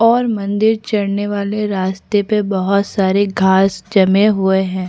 और मंदिर चड़ने वाले रास्ते पे बहोत सारे घास जमे हुए है।